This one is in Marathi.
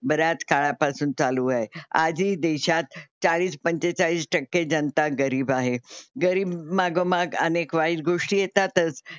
बराच काळापासून चालू आहे. आजही देशात चाळीस पंचेचाळीस टक्के जनता गरीब आहे. गरीब मागोमाग अनेक वाईट गोष्टी येतातच.